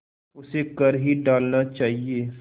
उसे कर ही डालना चाहिए